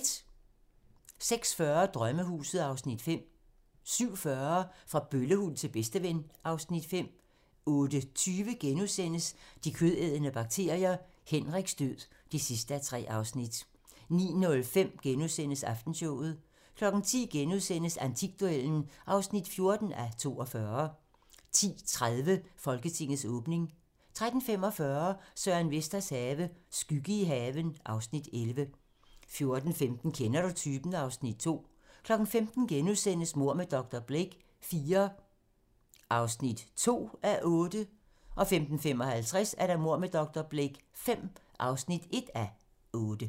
06:40: Drømmehuset (Afs. 5) 07:40: Fra bøllehund til bedsteven (Afs. 5) 08:20: De kødædende bakterier - Henriks død (3:3)* 09:05: Aftenshowet * 10:00: Antikduellen (14:42)* 10:30: Folketingets åbning 13:45: Søren Vesters have - skygge i haven (Afs. 11) 14:15: Kender du typen? (Afs. 2) 15:00: Mord med dr. Blake IV (2:8)* 15:55: Mord med dr. Blake V (1:8)